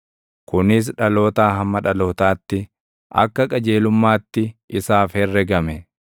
Kunis dhalootaa hamma dhalootaatti, akka qajeelummaatti isaaf herregame.